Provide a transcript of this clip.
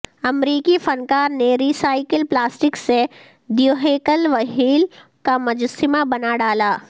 امریکی فنکار نے ری سائیکل پلاسٹک سے دیوہیکل وہیل کا مجسمہ بنا ڈالا